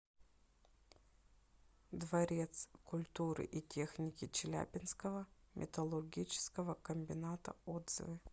дворец культуры и техники челябинского металлургического комбината отзывы